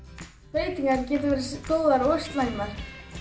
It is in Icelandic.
breytingar geta verið góðar og slæmar